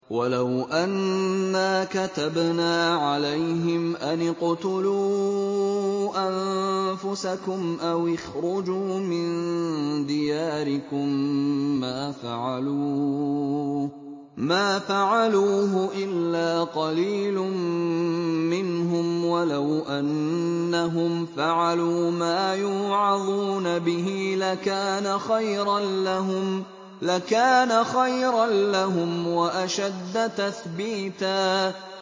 وَلَوْ أَنَّا كَتَبْنَا عَلَيْهِمْ أَنِ اقْتُلُوا أَنفُسَكُمْ أَوِ اخْرُجُوا مِن دِيَارِكُم مَّا فَعَلُوهُ إِلَّا قَلِيلٌ مِّنْهُمْ ۖ وَلَوْ أَنَّهُمْ فَعَلُوا مَا يُوعَظُونَ بِهِ لَكَانَ خَيْرًا لَّهُمْ وَأَشَدَّ تَثْبِيتًا